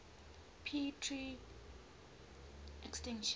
p tr extinction